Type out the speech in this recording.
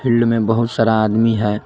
Field में बहुत सारा आदमी है।